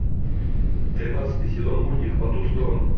тринадцатый сезон мультик по ту сторону